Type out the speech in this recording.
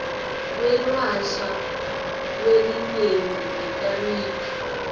kwelashwa kwelinyenti ngetamiflu